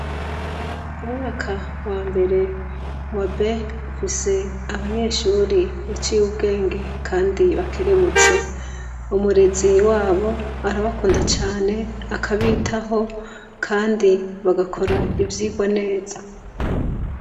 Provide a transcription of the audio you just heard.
Umwaka wa mbere wa B ufise abanyeshuri baciye ubwenge kandi bakerebutse. Umurezi wabo arabakunda cane, akabitaho, kandi bagakora ivyigwa neza.